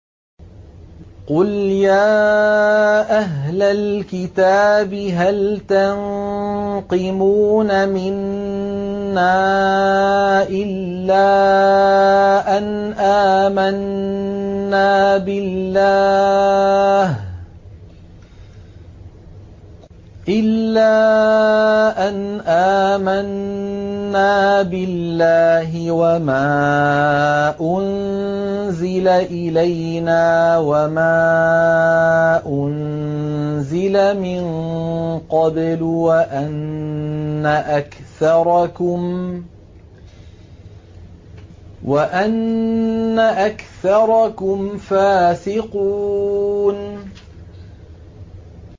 قُلْ يَا أَهْلَ الْكِتَابِ هَلْ تَنقِمُونَ مِنَّا إِلَّا أَنْ آمَنَّا بِاللَّهِ وَمَا أُنزِلَ إِلَيْنَا وَمَا أُنزِلَ مِن قَبْلُ وَأَنَّ أَكْثَرَكُمْ فَاسِقُونَ